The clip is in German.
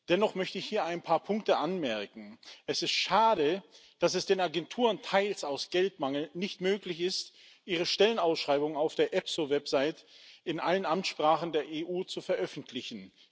Dennoch möchte ich hier ein paar Punkte anmerken Es ist schade, dass es den Agenturen teils aus Geldmangel nicht möglich ist, ihre Stellenausschreibungen auf der EPSO Website in allen Amtssprachen der EU zu veröffentlichen.